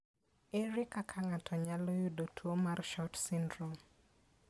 Ere kaka ng'ato nyalo yudo tuwo mar SHORT syndrome?